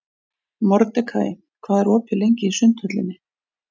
Mordekaí, hvað er opið lengi í Sundhöllinni?